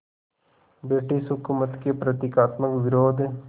British हुकूमत के प्रतीकात्मक विरोध